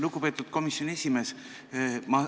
Lugupeetud komisjoni esimees!